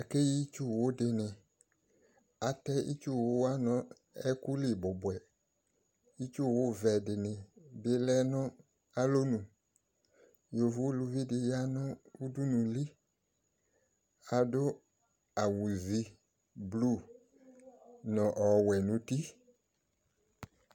Ake yi itsuwo de ne Atɛ itsuwo wa no ɛku li bubuɛ, ko alɔnu, yovo uluvi de ya no udunuli, ado awu ivu blu no ɔwɛ no uti